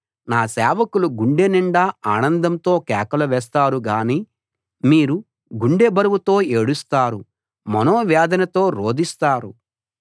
నా సేవకులు గుండె నిండా ఆనందంతో కేకలు వేస్తారు గానీ మీరు గుండె బరువుతో ఏడుస్తారు మనోవేదనతో రోదిస్తారు